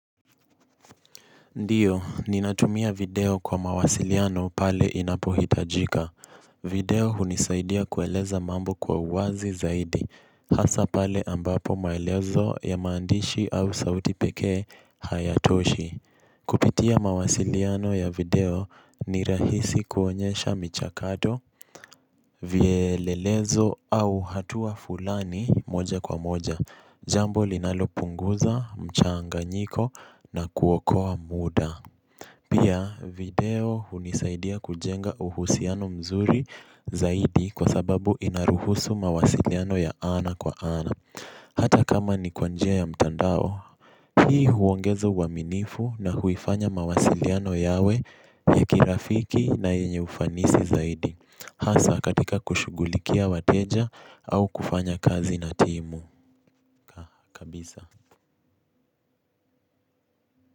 Ndiyo, ninatumia video kwa mawasiliano pale inapohitajika. Video hunisaidia kueleza mambo kwa uwazi zaidi. Hasa pale ambapo maelezo ya maandishi au sauti pekee hayatoshi. Kupitia mawasiliano ya video ni rahisi kuonyesha michakato, vielelezo au hatua fulani moja kwa moja. Jambo linalo punguza, mchanganyiko na kuokoa muda. Pia, video hunisaidia kujenga uhusiano mzuri zaidi kwa sababu inaruhusu mawasiliano ya ana kwa ana. Hata kama ni kwa njia ya mtandao. Hii huongeza uaminifu na huifanya mawasiliano yawe ya kirafiki na yenye ufanisi zaidi. Hasa katika kushugulikia wateja au kufanya kazi na timu. Kabisa.